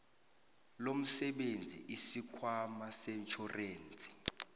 lomsebenzi isikhwama setjhorensi